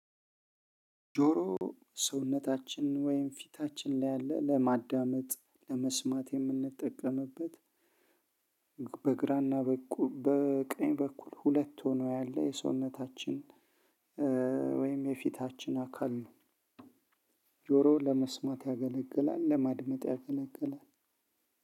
ጆሮ ሰውነታችን ወይም ፊታችን ላይ ያለ ለማዳመጥ ለመስማት የምንጠቀምበት በግራና በቀኝ በኩል ሁለት ሆኖ ያለ የሰውነታችን ወይም የፊታችን አካል ነው። ጆሮ ለመስማት ያገለግላል ለማድመጥ ያገለግላል።